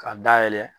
K'a dayɛlɛ